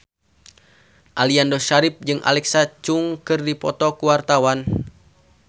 Aliando Syarif jeung Alexa Chung keur dipoto ku wartawan